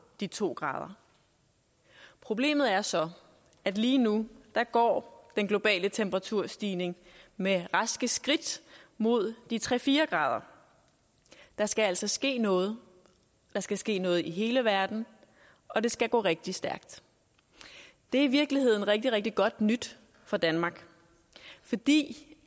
de to grader problemet er så at lige nu går den globale temperaturstigning med raske skridt mod de tre fire grader der skal altså ske noget der skal ske noget i hele verden og det skal gå rigtig stærkt det er i virkeligheden rigtig rigtig godt nyt for danmark fordi